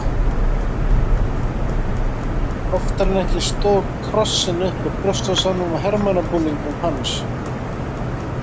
Oftar en ekki stóð krossinn upp úr brjóstvasanum á hermannabúningnum hans.